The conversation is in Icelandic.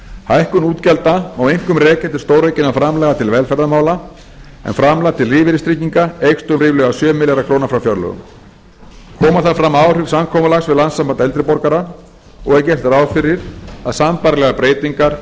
hækkun útgjalda má einkum rekja til stóraukinna framlaga til velferðarmála en framlag til lífeyristrygginga eykst um ríflega sjö milljarða króna frá fjárlögum koma þar fram áhrif samkomulags við landssamband eldri borgara og er gert ráð fyrir að sambærilegar breytingar